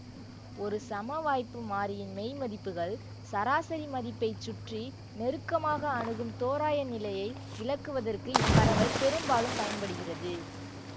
ஒரு சமவாய்ப்பு மாறியின் மெய்மதிப்புகள் சராசரி மதிப்பைச் சுற்றி நெருக்கமாக அணுகும் தோராயநிலையை விளக்குவதற்கு இப்பரவல் பெரும்பாலும் பயன்படுகிறது